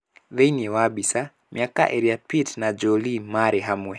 Thĩinĩ wa Mbica: Mĩaka ĩrĩa Pitt na Jolie maarĩ hamwe